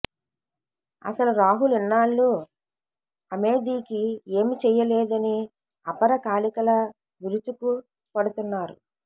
అసలు రాహుల్ ఇన్నాళ్లూ అమేథీకి ఏమీ చెయ్యలేదని అపర కాళికలా విరుచుకుపడుతున్నారు